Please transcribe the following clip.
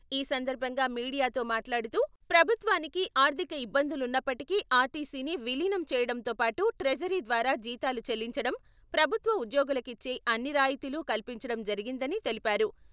ఈ సందర్భంగా మీడియాతో మాట్లాడుతూ, ప్రభుత్వానికి ఆర్థిక ఇబ్బందులున్నప్పటికీ ఆర్టీసీని విలీనం చేయడంతో పాటు ట్రెజరీ ద్వారా జీతాలు చెల్లించడం, ప్రభుత్వ ఉద్యోగులకిచ్చే అన్ని రాయితీలు కల్పించడం జరిగిందని తెలిపారు.